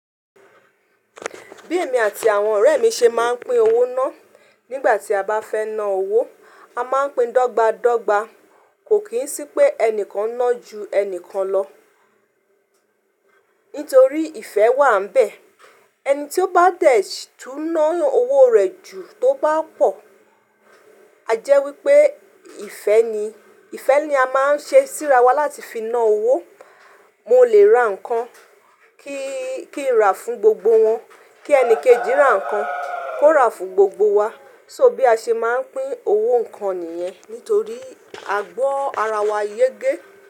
Bí èmi àti àwọn ọ̀rẹ́ mi ṣe máa ń pín owó ná, nígbà tí a bá fẹ́ na owó, a máa ń pín dọ́gba dọ́gba. Kò kí ń sí pé ẹnìkan ná ju ẹni kan lọ, nítorí ìfẹ́ wà nbẹ̀. Ẹni tí ó bá dẹ̀ tún ná owó rẹ̀ ju tó bá pọ̀, àjẹ́ wípé ìfẹ́ ni. Ìfẹ́ ni a máa ń ṣe síra wá láti fi na owó. Mo lè ra nǹkan kí n ra fún gbogbo wọn, kí ẹni kejì rà nǹkan kó ra fún gbogbo wa. So bí a ṣe máa ń pín owó nǹkan nìyẹn, nítorí agbọ́ ara wa yé gé.